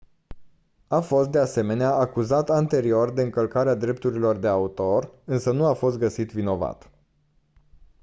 a fost de asemenea acuzat anterior de încălcarea drepturilor de autor însă nu a fost găsit vinovat